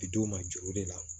Bi d'u ma juru de la